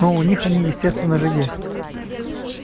ну у них они естественно же есть